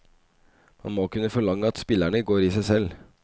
Man må kunne forlange at spillerne går i seg selv.